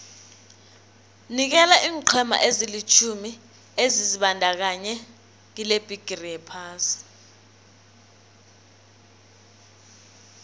nikela iinqhema ezilitjhumi ebezizibandakanye kilebhigiri yephasi